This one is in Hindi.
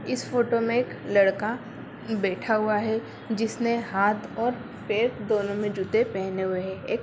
इस फोटो में एक लड़का बैठा हुआ है जिसने हाथ और पैर दोनो में जूते पहने हुए हैं ए --